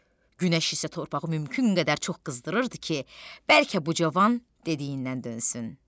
Günəş isə torpağı mümkün qədər çox qızdırırdı ki, bəlkə bu cavan dediyindən dönsün.